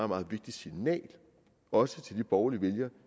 meget vigtigt signal også til de borgerlige vælgere